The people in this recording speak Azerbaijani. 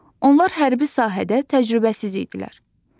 Onlar hərbi sahədə təcrübəsiz idilər.